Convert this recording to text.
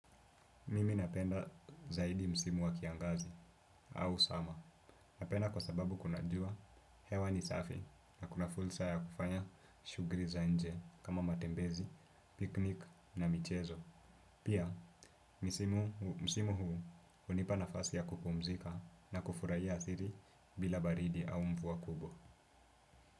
Mimi napenda zaidi msimu wa kiangazi au summer. Napenda kwa sababu kuna jua hewa ni safi na kuna fursa ya kufanya shughuli za nje kama matembezi, picnic na michezo. Pia msimu huu hunipa nafasi ya kupumzika na kufurahia asili bila baridi au mvua kubwo.